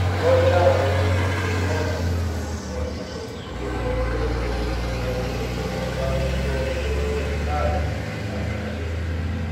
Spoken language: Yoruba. um ó bèrè okòwò kékeré kan nígbà um tó ṣì ń se oúnjẹ ìbílè nílé